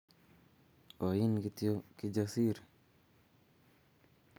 Oin kityoKijasiri